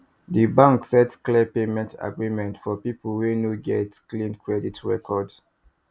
di bank set clear payment agreement for people wey no get clean credit record